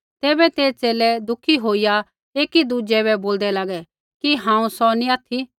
तैबै ते च़ेले दुखी होईया एकी दुज़ै बै बोलदै लागै कि हांऊँ सौ नी ऑथि